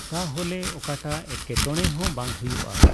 ᱛᱟᱞᱦᱮ ᱚᱠᱟᱴᱟᱜ ᱮᱴᱠᱮᱴᱚᱬᱮ ᱦᱚᱸ ᱵᱟᱝ ᱦᱩᱭᱩᱜᱚᱜᱼ᱾